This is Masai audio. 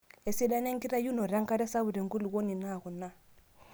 Esidano enkitayunoto enkare sapuk tenkulukuoni naa kuna;